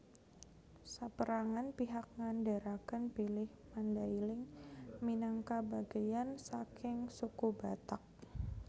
Sapérangan pihak ngandharaken bilih Mandailing minangka bagéyan saking Suku Batak